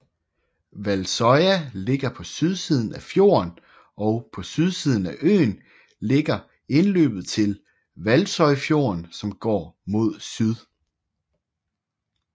Valsøya ligger på sydsiden af fjorden og på sydsiden af øen ligger indløbet til Valsøyfjorden som går mod syd